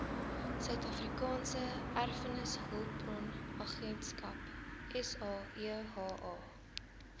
suidafrikaanse erfenishulpbronagentskap saeha